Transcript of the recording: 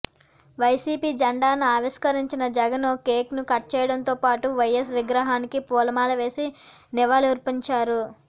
YCP జెండాను ఆవిష్కరించిన జగన్ కేక్ను కట్ చేయడంతోపాటు వైస్ విగ్రహానికి పూలమాలలేసి నివాళులర్పించారు